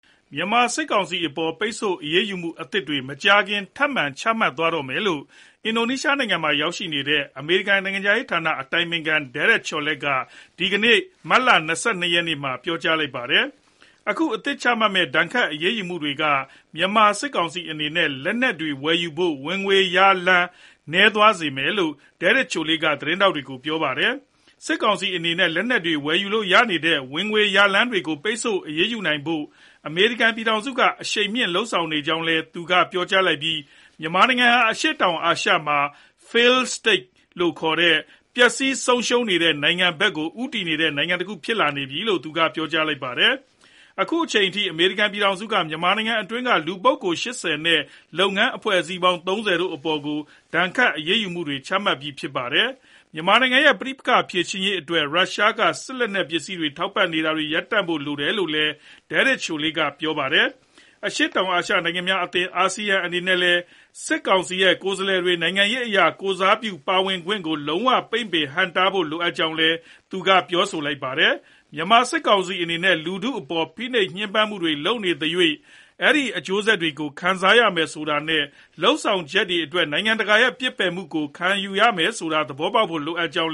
မြန်မာစစ်ကောင်စီအပေါ် ပိတ်ဆို့အရေးယူမှုအသစ်တွေ မကြာခင်မှာ ထပ်မံ ချမှတ်သွားမယ်လို့ အင်ဒိုနီးရှားနိုင်ငံမှာ ရောက်နေတဲ့ အမေရိကန် နိုင်ငံခြားရေးဌာန အတိုင်ပင်ခံ Derek Chollet က ဒီကနေ့ မတ်လ ၂၂ ရက်နေ့မှာ ပြောကြားလိုက်ပါတယ်။ အခု အသစ်ချမှတ်မယ့် ဒဏ်ခတ် အရေးယူမှုတွေက မြန်မာစစ်ကောင်စီအနေနဲ့ လက်နက်တွေဝယ်ယူဖို့ ဝင်ငွေရလည်း နည်းသွားစေမယ်လို့ Derek Chollet က ဂျကာတာမြို့မှာ သတင်းထောက်တွေကို ပြောပါတယ်။ စစ်ကောင်စီအနေနဲ့ လက်နက်တွေ ဝယ်ယူလို့ရနေတဲ့ ဝင်ငွေရလမ်းတွေကို ပိတ်ဆို့ အရေးယူနိုင်ဖို့ အမေရိကန်ပြည်ထောင်စုက အရှိန်မြင့် လုပ်ဆောင်နေကြောင်း သူက ပြောကြားလိုက်ပြီး မြန်မာနိုင်ငံဟာ အရှေ့တောင်အာရှတိုက်မှာ Failed State လို့ခေါ်တဲ့ ပျက်ဆီး ဆုံးရှုံးတဲ့နိုင်ငံဘက်ကို ဦးတည်တဲ့ နိုင်ငံတခု ဖြစ်လာနေတယ်လို့လည်း သူက ပြောကြားခဲ့ပါတယ်။ အခုချိန်ထိ အမေရိကန်ပြည်ထောင်စုက မြန်မာနိုင်ငံအတွင်းက လူပုဂ္ဂိုလ် ၈၀ နဲ့ လုပ်ငန်း အဖွဲ့အစည်းပေါင်း ၃၀ တို့အပေါ် ဒဏ်ခတ် အရေးယူမှုတွေ ချမှတ်ခဲ့ပြီး ဖြစ်ပါတယ်။ မြန်မာနိုင်ငံရဲ့ပဋိပက္ခ ဖြေရှင်းနိုင်ရေးအတွက် ရုရှားက စစ်လက်နက်ပစ္စည်း ထောက်ပံ့နေတာတွေ ရပ်တန့်ဖို့ လိုအပ်တယ်လို့လည်း Derek Chollet က ပြောပါတယ်။ အရှေ့တောင်အာရှနိုင်ငံများအသင်း အာဆီယံအနေနဲ့လည်း စစ်ကောင်စီရဲ့ ကိုယ်စားလှယ်တွေ နိုင်ငံရေးအရ ကိုယ်စားပြု ပါဝင်ခွင့်ကို လုံးဝ ပိတ်ပင် ဟန့်တားဖို့လိုအပ်ကြောင်းလည်း သူက ပြောပါတယ်။ မြန်မာစစ်ကောင်စီအနေနဲ့ လူထုအပေါ် ဖိနှိပ် ညှဉ်းပန်းမှုတွေ လုပ်နေသ၍ အဲဒီရဲ့ အကျိုးဆက်တွေကို ခံစားရမယ်ဆိုတာနဲ့ လုပ်ဆောင်ချက်တွေအတွက် နိုင်ငံတကာရဲ့ ပစ်ပယ်ခြင်းကို ခံရမယ်ဆိုတာ သဘောပေါက်ဖို့ လိုအပ်ကြောင်း